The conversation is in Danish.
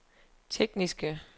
tekniske